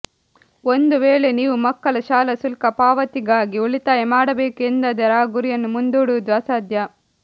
ಒಂದು ವೇಳೆ ನೀವು ಮಕ್ಕಳ ಶಾಲಾ ಶುಲ್ಕ ಪಾವತಿಗಾಗಿ ಉಳಿತಾಯ ಮಾಡಬೇಕು ಎಂದಾದರೆ ಆ ಗುರಿಯನ್ನು ಮುಂದೂಡುವುದು ಅಸಾಧ್ಯ